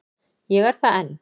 Ég er það enn.